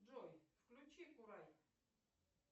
джой включи курай